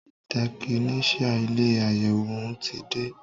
Tẹkinician ilé àyẹwò òún ti dé.